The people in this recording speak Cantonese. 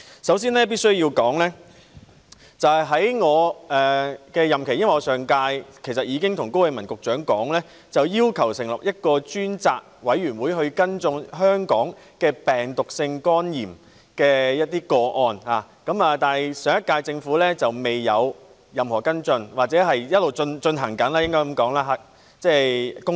首先，我必須說，在我的任期......其實上屆立法會時，我已向高永文局長要求成立一個專責委員會跟進香港的病毒性肝炎個案，但上屆政府沒有任何跟進，或者公道點說，是在進行中。